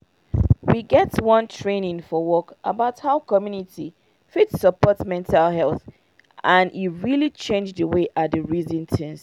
we get one training for work about how community fit support mental health and e really change the way i dey reason things